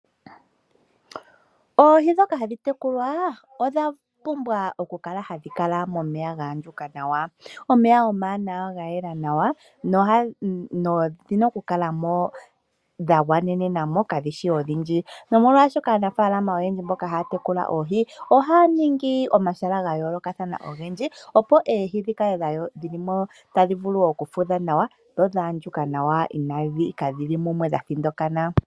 Oohi ndhoka hadhi tekulwa odha pumbwa okukala hadhi kala momeya ngoka ga andjuka nawa. Omeya omawanawa ga yela nawa nodhi na okukala mo dha gwanena mo kadhi shi ondhindji. Aanafalama mboka haya tekula oohi oya ningi omahala ga yoolokathana ogendji opo oohi dhi vule okugwana mo, tadhi futha nawa na odha andjuka nawa inadhi thinana.